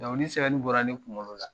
sɛbɛnni bɔra ne kunkolo la.